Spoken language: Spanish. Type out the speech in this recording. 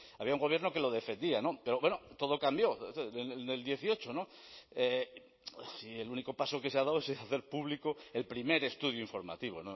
había un gobierno que lo defendía pero bueno todo cambió en dos mil dieciocho y el único paso que se ha dado es hacer público el primer estudio informativo